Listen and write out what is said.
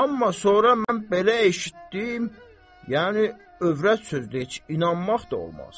Amma sonra mən belə eşitdim, yəni övrət sözdür, heç inanmaq da olmaz.